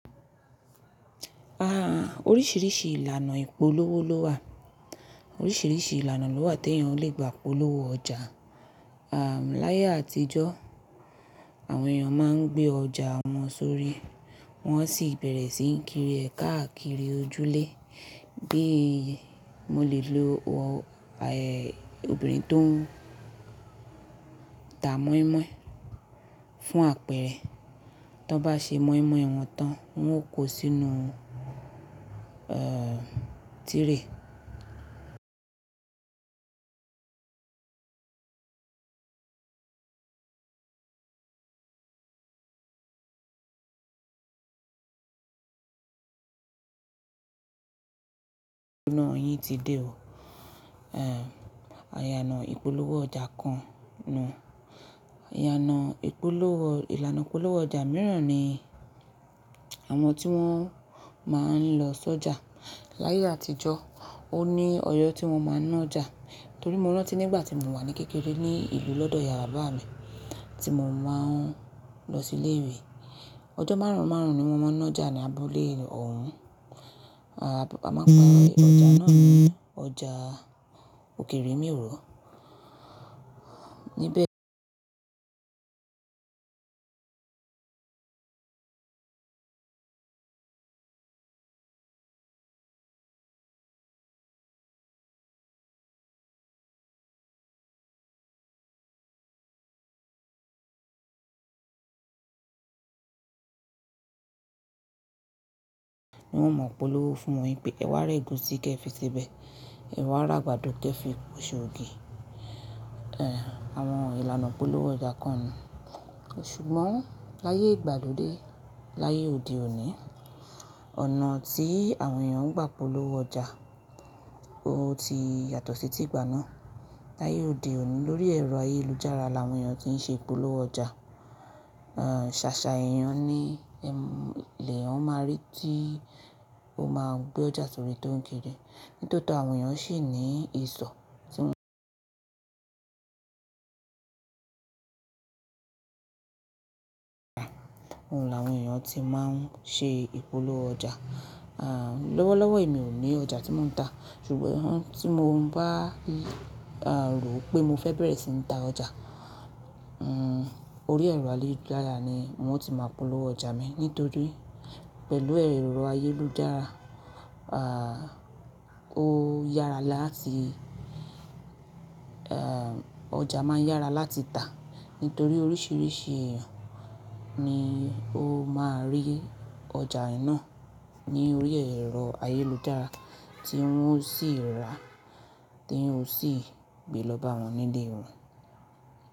Oríṣiríṣi ìlànà ìpolówó ló wà. Oríṣiríṣi ìlànà ló wà tí èèyàn lè gbà polówó ọjà. Láyé àtijọ́, àwọn èèyàn máa ń gbé ọjà wọn sórí, wọ́n sì bẹ̀rẹ̀ sí ń kiri ẹ̀ káàkiri ojúlé. Bí mo lè lo obìnrin tó ń ta moinmoin fún àpẹẹrẹ, tí wọ́n bá ṣe moinmoin wọn tán, wọn yóò kó sínú tirẹ̀. Òṣù náà yìí ti dé o. Àyànà ìpolówó ọjà kan nù. Àyànà ìpolówó, ìlànà ìpolówó ọjà mìíràn ni àwọn tí wọ́n máa ń lọ sọ́jà. Láyé àtijọ́, ó ní ọyọ́ tí wọ́n máa ń ná ọjà. Nítorí mo rántí nígbà tí mo wà ní kékeré ní ìlú lọ́dọ̀ ìyá bàbá mi tí mo máa ń lọ sí ilé ìwé, ọjọ́ márùn márùn ni wọ́n máa ń ná ọjà ní abúlé òún. Baba máa ń gba ọjà náà ní ọjà òkè-ìrè mìòró. Níbẹ̀ ní wọ́n mọ polówó fún yin pé kẹ wá ra ẹ̀gúsí kẹ fi sebẹ̀, ẹ wá ra àgbàdo kẹ fi ṣe ògì. Àwọn ìlànà ìpolówó ọjà kan nù. Ṣùgbọ́n láyé ìgbàlódé, láyé òde òní, ọ̀nà tí àwọn èèyàn ń gbà polówó ọjà, ó ti yàtọ̀ sí ti ìgbà náà. Láyé òde òní lórí ẹ̀rọ ayélujára l’àwọn èèyàn ti ń ṣe ìpolówó ọjà. Ṣàṣà èèyàn ni ẹ–l’èèyàn máa rí tí ó máa gbé ọjà sórí tó ń kiri. Nítòótọ́ àwọn èèyàn ṣì ní ìsọ̀ tí wọ́n ń Òun làwọn èèyàn ti máa ń ṣe ìpolówó ọjà. Lọ́wọ́lọ́wọ́ èmi ò ní ọjà tí mò ń tà, ṣùgbọ́n tí mo bá rò ó pé mo fẹ́ bẹ̀rẹ̀ sí ń ta ọjà, orí ẹ̀rọ ayélujára ni n ò tí máa polówó ọjà mi. Nítorí, pẹ̀lú ẹ̀rọ ayélujára, ó yára láti, ọjà máa ń yára láti tà. Nítorí oríṣiríṣi èèyàn ni ó máa rí ọjà náà ní orí ẹ̀rọ ayélujára tí wọ́n ó sì rà á, t’èèyàn ó sì gbé lọ b’àwọn n’ilé wọn.